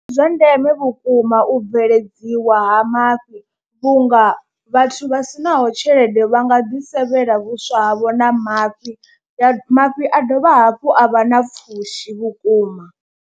Ndi zwa ndeme vhukuma u bveledziwa ha mafhi vhunga vhathu vha si naho tshelede vha nga ḓi sevhela vhuswa havho na mafhi, mafhi a dovha hafhu a vha na pfhushi vhukuma.